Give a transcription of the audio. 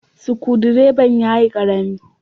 Sukudireban ya yi Karami.